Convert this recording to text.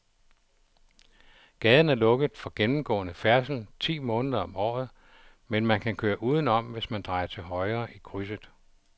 Gaden er lukket for gennemgående færdsel ti måneder om året, men man kan køre udenom, hvis man drejer til højre i krydset.